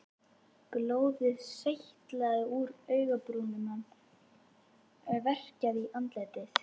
Blóðið seytlaði úr augabrúninni, hann verkjaði í andlitið.